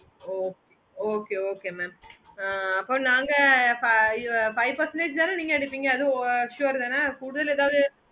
oh okay okay mam ah அப்போ நாங்க five percentage தான நீங்க எடுப்பீங்க அது assured தான கூடுதல் ஏதாவது